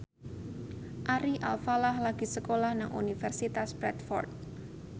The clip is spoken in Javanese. Ari Alfalah lagi sekolah nang Universitas Bradford